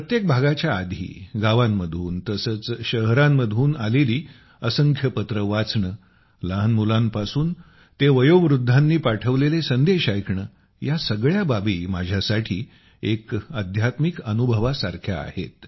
प्रत्येक भागाच्या आधी गावांमधून तसेच शहरांमधून आलेली असंख्य पत्रे वाचणे लहान मुलांपासून ते वयोवृद्धांनी पाठवलेले ऑडीओ ऐकणे या सगळ्या बाबी माझ्यासाठी एक अध्यात्मिक अनुभवासारख्या आहेत